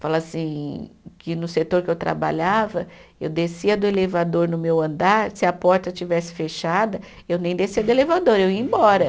Falo assim, que no setor que eu trabalhava, eu descia do elevador no meu andar, se a porta tivesse fechada, eu nem descia do elevador, eu ia embora.